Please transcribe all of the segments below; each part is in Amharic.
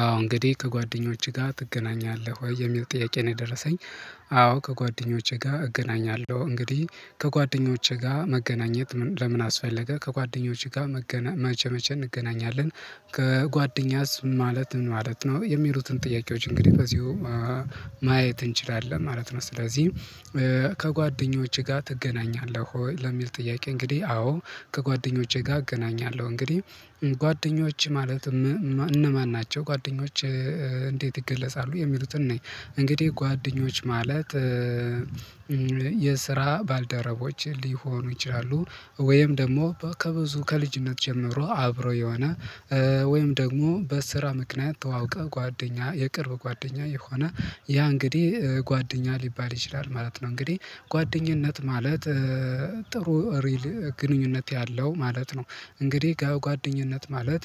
አዎ እንግዲህ ከጓደኞችህ ጋር ትገናኛለህ ወይ የሚል ጥያቄ ነው የደረሰኝ። አዎ ከጓደኞቼ ጋር እገናኛለሁ እንግዲህ ከጓደኞቼ ጋር መገናኘት ለምን? አስፈለገ ከጓደኞችህ ጋር መቼ መቼ እንገናኛለን? ከጓደኛስ ማለት ምን ማለት ነው? የሚሉትን ጥያቄዎች እንግዲህ በዚሁ ማየት እንችላለን ማለት ነው። ስለዚህ ከጓደኞችህ ጋር ተገናኛለህ ወይ? ለሚል ጥያቄ እንግዲህ አዎ ከጓደኞቼ ጋር እገናኛለሁ። እንግዲህ ጓደኞች ማለት እነማን ናቸው ጓደኞች እንዴት ይገለጻሉ? የሚሉትን ነኝ እንግዲህ ጓደኞች ማለት የስራ ባልደረቦች ሊሆኑ ይችላሉ። ወይም ደግሞ ከብዙ ከልጅነት ጀምሮ አብሮ የሆነ ወይም ደግሞ በስራ ምክንያት ተዋውቀው ጓደኛ የቅርብ ጓደኛ የሆነ ያ እንግዲህ ጓደኛ ሊባል ይችላል ማለት ነው። እንግዲህ ጓደኝነት ማለት ጥሩ ግንኙነት ያለው ማለት ነው። እንግዲህ ከጓደኝነት ማለት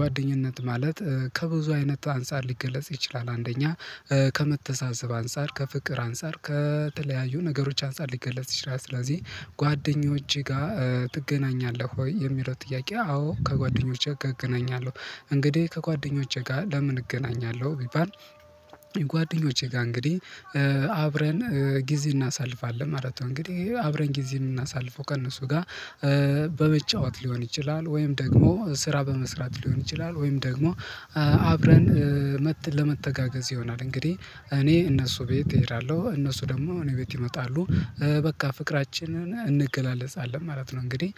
ጓደኝነት ማለት ከብዙ አይነት አንፃር ሊገለጽ ይችላል አንደኛ ከመተሳሰብ አንፃር ከፍቅር አንፃር ከተለያዩ ነገሮች አንፃር ሊገለጽ ይችላል። ስለዚህ ጓደኞቼ ጋር ትገናኛለህ ወይ የሚለው ጥያቄ? አዎ ከጓደኞቼ ጋር እገናኛለሁ። እንግዲህ ከጓደኞቼ ጋር ለምን እገናኛለሁ ቢባል ጓደኞቼ ጋር እንግዲህ አብረን ጊዜ እናሳልፋለን ማለት ነው። እንግዲህ አብረን ጊዜ የምናሳልፈው ከእነሱ ጋር በመጫወት ሊሆን ይችላል ወይም ደግሞ ስራ በመስራት ሊሆን ይችላል ወይም ደግሞ አብረን መት ለመተጋገዝ ይሆናል። እንግዲህ እኔ እነሱ ቤት እሄዳለሁ እነሱ ደግሞ እኔ ቤት ይመጣሉ በቃ ፍቅራችንን እንገላለጻለን ማለት ነው። እንግዲህ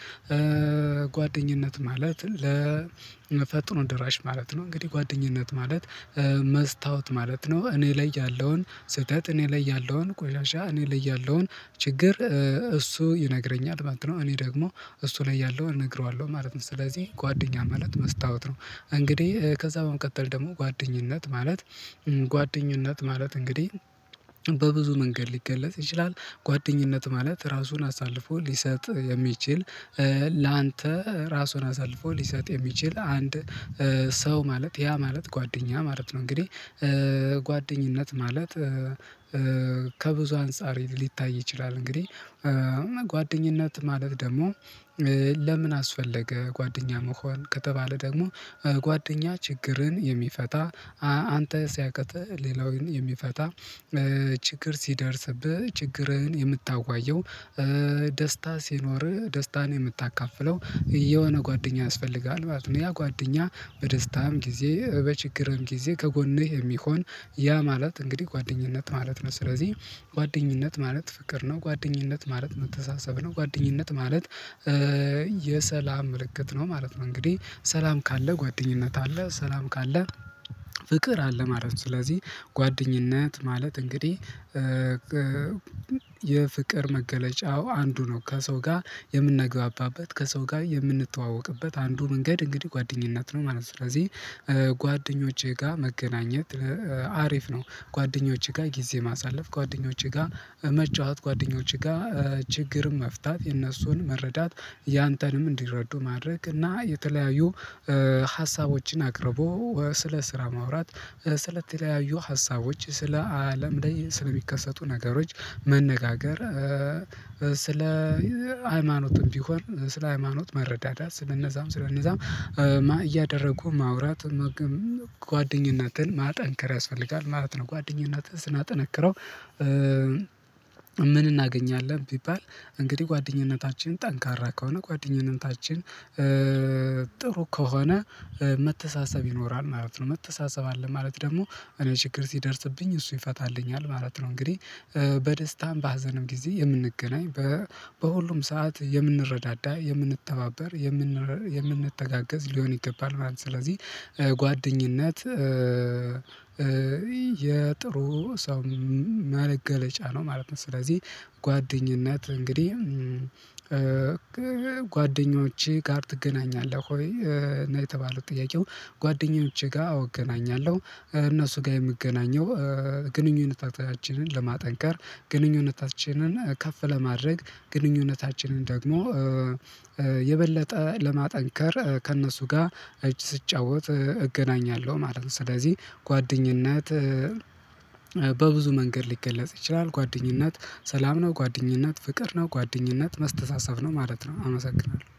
ጓደኝነት ማለት ለመፈጥኖ ደራሽ ማለት ነው። እንግዲህ ጓደኝነት ማለት መስታወት ማለት ነው። እኔ ላይ ያለውን ስህተት እኔ ላይ ያለውን ቆሻሻ እኔ ላይ ያለውን ችግር እሱ ይነግረኛል ማለት ነው። እኔ ደግሞ እሱ ላይ ያለውን እነግረዋለሁ ማለት ነው። ስለዚህ ጓደኛ ማለት መስታወት ነው። እንግዲህ ከዛ በመቀጠል ደግሞ ጓደኝነት ማለት ጓደኝነት ማለት እንግዲህ በብዙ መንገድ ሊገለጽ ይችላል። ጓደኝነት ማለት ራሱን አሳልፎ ሊሰጥ የሚችል ላንተ ራሱን አሳልፎ ሊሰጥ የሚችል አንድ ሰው ማለት ያ ማለት ጓደኛ ማለት ነው። እንግዲህ ጓደኝነት ማለት ከብዙ አንፃር ሊታይ ይችላል። እንግዲህ ጓደኝነት ማለት ደግሞ ለምን አስፈለገ? ጓደኛ መሆን ከተባለ ደግሞ ጓደኛ ችግርን የሚፈታ አንተ ሲያቅትህ ሌላውን የሚፈታ ችግር ሲደርስብህ ችግርህን የምታዋየው ደስታ ሲኖርህ ደስታን የምታካፍለው የሆነ ጓደኛ ያስፈልግሃል ማለት ነው። ያ ጓደኛ በደስታም ጊዜ በችግርም ጊዜ ከጎንህ የሚሆን ያ ማለት እንግዲህ ጓደኝነት ማለት ነው። ስለዚህ ጓደኝነት ማለት ፍቅር ነው። ጓደኝነት ማለት መተሳሰብ ነው። ጓደኝነት ማለት የሰላም ምልክት ነው ማለት ነው። እንግዲህ ሰላም ካለ ጓደኝነት አለ ሰላም ካለ ፍቅር አለ ማለት ነው። ስለዚህ ጓደኝነት ማለት እንግዲህ የፍቅር መገለጫው አንዱ ነው ከሰው ጋር የምንግባባበት ከሰው ጋር የምንተዋወቅበት አንዱ መንገድ እንግዲህ ጓደኝነት ነው ማለት ነው። ስለዚህ ጓደኞቼ ጋር መገናኘት አሪፍ ነው። ጓደኞቼ ጋር ጊዜ ማሳለፍ ጓደኞቼ ጋር መጫወት ጓደኞቼ ጋር ችግርም መፍታት የነሱን መረዳት ያንተንም እንዲረዱ ማድረግ እና የተለያዩ ሀሳቦችን አቅርቦ ስለ ስራ ማውራት ስለተለያዩ ሀሳቦች ስለ አለም ላይ ስለሚከሰቱ ነገሮች መነጋገር። ስለ ሃይማኖትም ቢሆን ስለ ሃይማኖት መረዳዳት ስለነዛም ስለነዛም እያደረጉ ማውራት ጓደኝነትን ማጠንከር ያስፈልጋል ማለት ነው። ጓደኝነትን ስናጠነክረው ምን እናገኛለን? ቢባል እንግዲህ ጓደኝነታችን ጠንካራ ከሆነ ጓደኝነታችን ጥሩ ከሆነ መተሳሰብ ይኖራል ማለት ነው። መተሳሰብ አለ ማለት ደግሞ እኔ ችግር ሲደርስብኝ እሱ ይፈታልኛል ማለት ነው። እንግዲህ በደስታም በሀዘንም ጊዜ የምንገናኝ በሁሉም ሰዓት የምንረዳዳ የምንተባበር የምንረ የምንተጋገዝ ሊሆን ይገባል ማለት ነው። ስለዚህ ጓደኝነት የጥሩ ሰው በገለጫ ነው ማለት ነው። ስለዚህ ጓደኝነት እንግዲህ ጓደኞችህ ጋር ትገናኛለህ ወይ እና የተባለው ጥያቄው? ጓደኞቼ ጋር አወ እገናኛለሁ እነሱ ጋር የምገናኘው ግንኙነታችንን ለማጠንከር ግንኙነታችንን ከፍ ለማድረግ ግንኙነታችንን ደግሞ የበለጠ ለማጠንከር ከእነሱ ጋር እጅ ስትጫወት እገናኛለሁ ማለት ነው። ስለዚህ ጓደኝነት በብዙ መንገድ ሊገለጽ ይችላል። ጓደኝነት ሰላም ነው ጓደኝነት ፍቅርነው ጓደኝነት መስተሳሰብነው ማለት ነው። አመሰግናለሁ